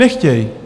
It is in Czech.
Nechtějí.